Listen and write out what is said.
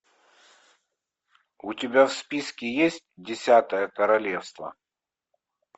у тебя в списке есть десятое королевство